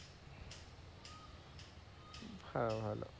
ভালো ভালো,